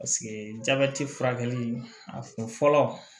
jabɛti furakɛli a kun fɔlɔ